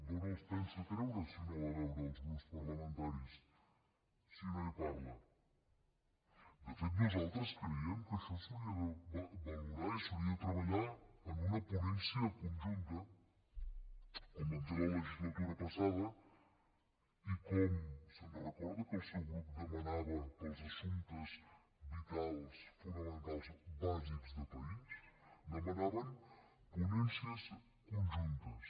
d’on els pensa treure si no va a veure els grups parlamentaris si no hi parla de fet nosaltres creiem que això s’hauria de valorar i s’hauria de treballar en una ponència conjunta com vam fer a la legislatura passada i com se’n recorda que el seu grup ho demanava per als assumptes vitals fonamentals bàsics de país demanaven ponències conjuntes